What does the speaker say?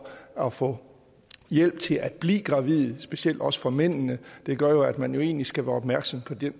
at få hjælp til at blive gravid også for mændene gør at man egentlig skal være opmærksom på den